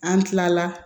An tilala